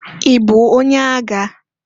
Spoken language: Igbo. I bụ onye agha?